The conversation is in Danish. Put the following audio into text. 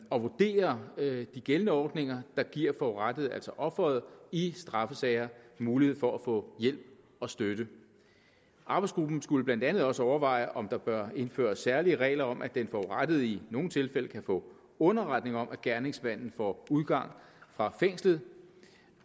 og vurdere de gældende ordninger der giver forurettede altså offeret i straffesager mulighed for at få hjælp og støtte arbejdsgruppen skulle blandt andet også overveje om der bør indføres særlige regler om at den forurettede i nogle tilfælde kan få underretning om at gerningsmanden får udgang fra fængslet